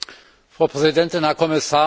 Frau Präsidentin, Herr Kommissar!